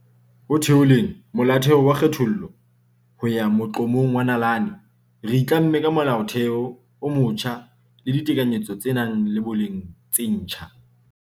Ho theoleng Molaotheo wa kgethollo ho ya moqo-mong wa nalane, re itlamme ka Molaotheo o motjha le ditekanyetso tse nang le boleng tse ntjha.